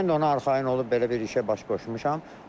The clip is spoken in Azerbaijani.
Mən də ona arxayın olub belə bir işə baş qoşmuşam.